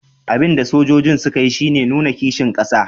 Abin da sojojin suka yi shi ne nuna kishin kasa